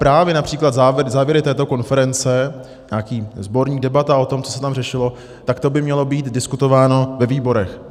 Právě například závěry této konference, nějaký sborník debat o tom, co se tam řešilo, tak to by mělo být diskutováno ve výborech.